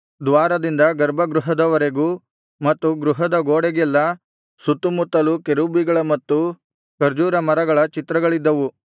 ದ್ವಾರದಿಂದ ಗರ್ಭಗೃಹದವರೆಗೂ ಮತ್ತು ಗೃಹದ ಗೋಡೆಗೆಲ್ಲಾ ಸುತ್ತುಮುತ್ತಲೂ ಕೆರೂಬಿಗಳ ಮತ್ತು ಖರ್ಜೂರ ಮರಗಳ ಚಿತ್ರಗಳಿಗಿದ್ದವು